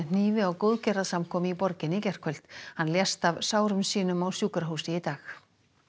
hnífi á í borginni í gærkvöld hann lést af sárum sínum á sjúkrahúsi í dag